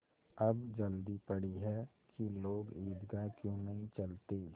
अब जल्दी पड़ी है कि लोग ईदगाह क्यों नहीं चलते